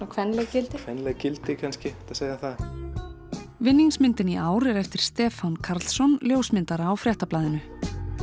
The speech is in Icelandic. kvenleg gildi kvenleg gildi kannski hægt að segja það í ár er eftir Stefán Karlsson ljósmyndara á Fréttablaðinu